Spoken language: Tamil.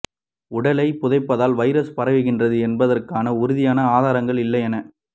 உடலை புதைப்பதால் வைரஸ் பரவுகின்றது என்பதற்கான உறுதியான ஆதாரங்கள் இல்லை என